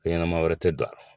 Ɲɛnɛma wɛrɛ tɛ don a la